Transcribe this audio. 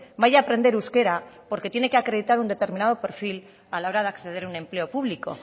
vaya a aprender euskera porque tiene que acreditar un determinado perfil a la hora de acceder a un empleo público